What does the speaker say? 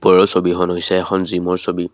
ওপৰৰ ছবিখন হৈছে এখন জিমৰ ছবি।